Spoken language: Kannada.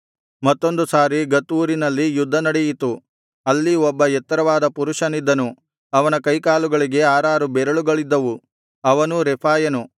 ಮತ್ತೊಂದು ಸಾರಿ ಗತ್ ಊರಿನಲ್ಲಿ ಯುದ್ಧನಡೆಯಿತು ಅಲ್ಲಿ ಒಬ್ಬ ಎತ್ತರವಾದ ಪುರುಷನಿದ್ದನು ಅವನ ಕೈಕಾಲುಗಳಿಗೆ ಆರಾರು ಬೆರಳುಗಳಿದ್ದವು ಅವನೂ ರೆಫಾಯನು